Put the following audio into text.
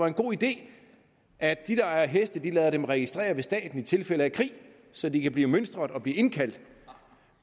en god idé at de der har heste lader dem registrere hos staten i tilfælde af krig så de kan blive mønstret og indkaldt